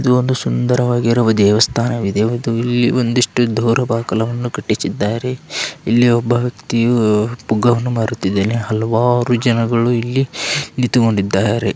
ಇದು ಒಂದು ಸುಂದರವಾಗಿರುವ ದೇವಸ್ಥಾನವಿದೆ ಇದು ಇಲ್ಲಿ ಒಂದಿಷ್ಟು ದೋರಬಾಗಿಲನ್ನು ಕಟ್ಟಿಸಿದ್ದಾರೆ ಇಲ್ಲಿ ಒಬ್ಬ ವೈಕ್ತಿಯು ಪುಗ್ಗವನ್ನು ಮಾರುತಿದ್ದಾನೆ ಹಲವಾರು ಜನಗಳು ಇಲ್ಲಿ ನಿಂತುಕೊಂಡಿದ್ದಾರೆ.